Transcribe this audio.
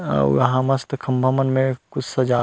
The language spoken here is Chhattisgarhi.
अउ वहाँ मस्त खम्भा मन में कुछ सजाये--